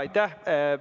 Aitäh!